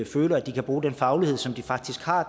føler at de kan bruge den faglighed som de faktisk har